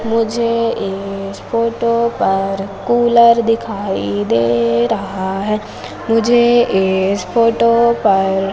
मुझे इस फोटो पर कुलर दिखाई दे रहा है मुझे इस फोटो पर--